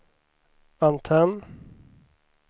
antenn